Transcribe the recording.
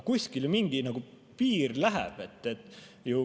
Kuskil ju mingi piir läheb.